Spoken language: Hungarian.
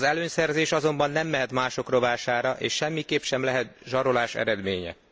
Az előnyszerzés azonban nem mehet mások rovására, és semmiképp sem lehet zsarolás eredménye.